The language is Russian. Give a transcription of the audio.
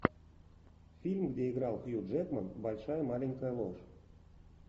фильм где играл хью джекман большая маленькая ложь